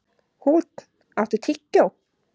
Húnn, áttu tyggjó?